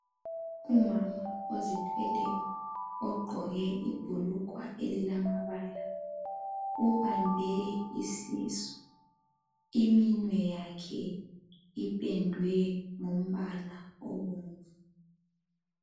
Umama ozithweleyo ogqoke ibhulugwa elilamabala. Ubambe isisu iminwe yakhe ipendwe ngombala obomvu .